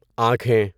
آنکھیں